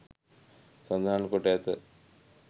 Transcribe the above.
සඳහන් කොට ඇත.